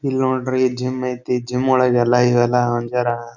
ಇಲ್ಲಿ ನೋಡ್ರಿ ಜಿಮ್ ಐತೆ ಜಿಮ್ ಒಳಗೆಲ್ಲ ಇವೆಲ್ಲ